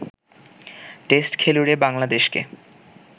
test খেলুড়ে বাংলাদেশকে